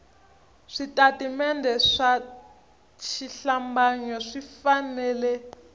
switatimende swa xihlambanyo swi fanele